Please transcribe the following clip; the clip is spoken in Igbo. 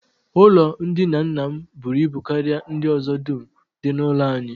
Ụlọndina nna m buru ibu karịa ndị ọzọ dum dị n'ụlọ anyị